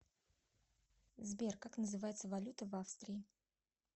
сбер как называется валюта в австрии